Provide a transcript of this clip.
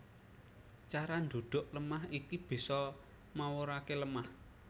Cara ndhudhuk lemah iki bisa mawuraké lemah